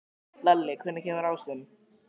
Lalli, hvenær kemur ásinn?